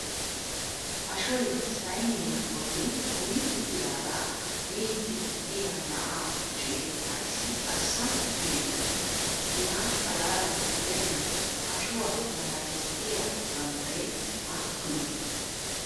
ashoy saynniya boli kummi uttidaaga miidi diya na"aa kushee ayssi arssa gididee? hegaa xalaala gidennan ashuwaa matan diya bambbaree aappunee?